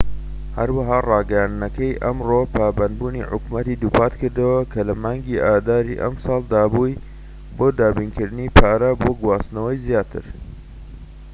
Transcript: هەروەها ڕاگەیاندنەکەی ئەمڕۆ پابەندبوونی حکومەتی دووپات کردەوە کە لە مانکی ئاداری ئەم ساڵ دابووی بۆ دابینکردنی پارە بۆ گواستنەوەی زیاتر